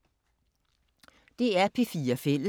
DR P4 Fælles